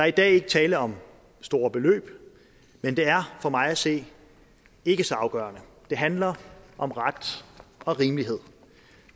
i dag ikke tale om store beløb men det er for mig at se ikke så afgørende for det handler om ret og rimelighed